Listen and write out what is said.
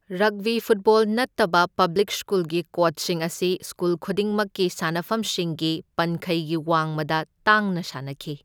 Rugby football ꯅꯠꯇꯕ public ꯁ꯭ꯀꯨꯜꯒꯤ ꯀꯣꯗꯁꯤꯡ ꯑꯁꯤ ꯁ꯭ꯀꯨꯜ ꯈꯨꯗꯤꯛꯃꯛꯀꯤ ꯁꯥꯟꯅꯐꯝꯁꯤꯡꯒꯤ ꯄꯟꯈꯩꯒꯤ ꯋꯥꯡꯃꯗ ꯇꯥꯡꯅ ꯁꯥꯟꯅꯈꯤ꯫